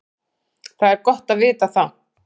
Það er gott að vita það.